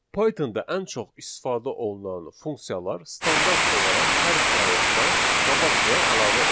Pythonda ən çox istifadə olunan funksiyalar standart olaraq hər proyektdə qabaqcadan əlavə olunur.